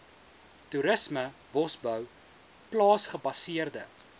toerisme bosbou plaasgebaseerde